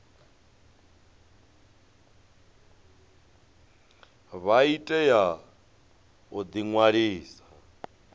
vha tea u ḓi ṅwalisa